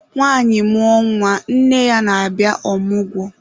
Nwanyị mmụọ nwa, nne ya na-abịa ọmụgwọ.